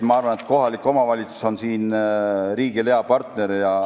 Ma arvan, et kohalik omavalitsus on siin riigile hea partner.